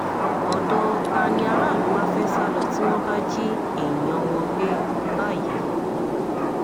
ọ̀dọ̀ ta ni àràlù wàá fẹ́ẹ́ sá lọ tí wọ́n bá jí èèyàn wọn gbé báyìí